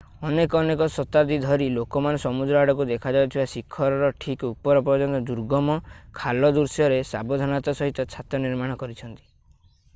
ଅନେକ ଅନେକ ଶତାବ୍ଦୀ ଧରି ଲୋକମାନେ ସମୁଦ୍ର ଆଡ଼କୁ ଦେଖାଯାଉଥିବା ଶିଖର ର ଠିକ ଉପର ପର୍ଯ୍ୟନ୍ତ ଦୁର୍ଗମ ଖାଲ ଦୃଶ୍ୟରେ ସାବଧାନତାର ସହିତ ଛାତ ନିର୍ମାଣ କରିଛନ୍ତି